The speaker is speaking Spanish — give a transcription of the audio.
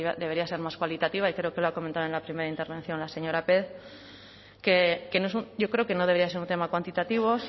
debería ser más cualitativa y creo que lo ha comentado en la primera intervención la señora pérez que no es un yo creo que no debería ser un tema cuantitativo